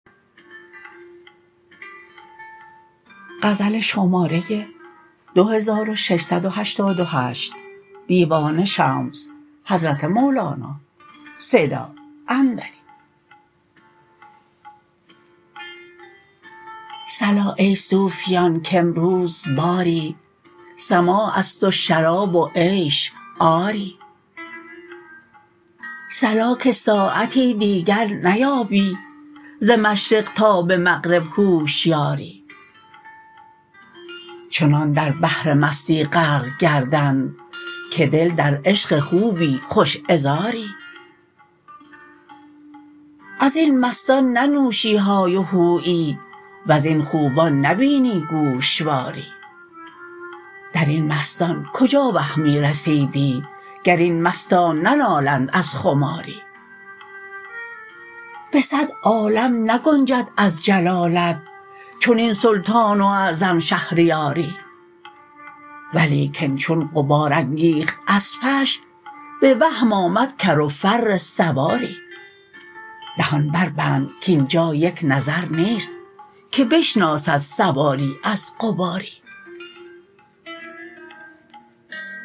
صلا ای صوفیان کامروز باری سماع است و شراب و عیش آری صلا که ساعتی دیگر نیابی ز مشرق تا به مغرب هوشیاری چنان در بحر مستی غرق گردند که دل در عشق خوبی خوش عذاری از این مستان ننوشی های و هویی وزین خوبان نبینی گوشواری در این مستان کجا وهمی رسیدی گر این مستان ننالند از خماری به صد عالم نگنجد از جلالت چنین سلطان و اعظم شهریاری ولیکن چون غبار انگیخت اسپش به وهم آمد کر و فر سواری دهان بربند کاین جا یک نظر نیست که بشناسد سواری از غباری